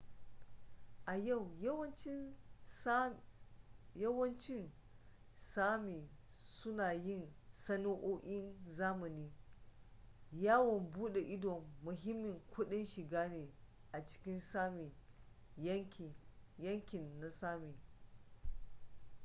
a yau yawancin sámi suna yin sana'o'in zamani. yawon buda ido muhimmin kudin shiga ne a cikin sámi yankin na sámi